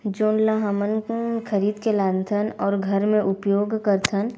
जोन ल हमन ह खरीद के लान थन अऊ घर में उपयोग करथन।